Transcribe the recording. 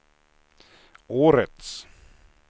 årets